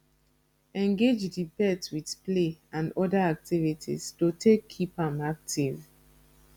engage di pet with play and oda activities to take keep am active